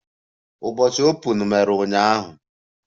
Ụbọchị Open mere ụnyaahụ?